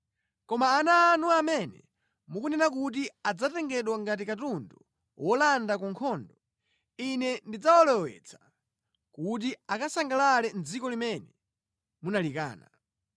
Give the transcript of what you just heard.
Koma ana anu amene mukunena kuti adzatengedwa ngati katundu wolanda ku nkhondo, Ine ndidzawalowetsa kuti akasangalale mʼdziko limene munalikana.